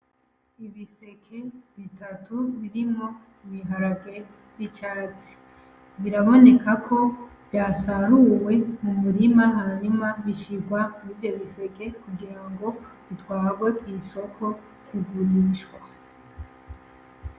Ibiseke bitatu birimwo ibiharage vyicatsi, birabonekako vyasaruwe mu murima hanyuma bishirwa mwivyo biseke kugirango bitwarwe kw'isoko kugurishwa.